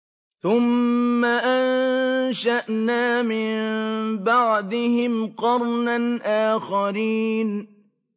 ثُمَّ أَنشَأْنَا مِن بَعْدِهِمْ قَرْنًا آخَرِينَ